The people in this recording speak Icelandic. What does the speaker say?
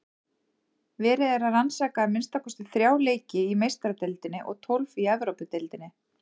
Verið er að rannsaka að minnsta kosti þrjá leiki í Meistaradeildinni og tólf í Evrópudeildinni.